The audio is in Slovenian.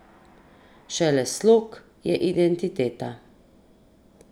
Šele slog je identiteta.